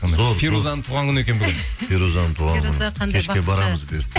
фирузаның туған күні екен бүгін фирузаның туған күні кешке барамыз бұйыртса